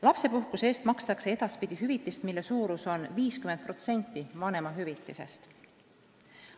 Lapsepuhkuse eest makstakse edaspidi hüvitist, mille suurus on 50% vanemahüvitisest.